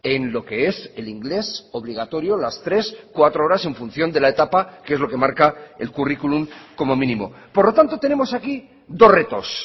en lo que es el inglés obligatorio las tres cuatro horas en función de la etapa que es lo que marca el currículum como mínimo por lo tanto tenemos aquí dos retos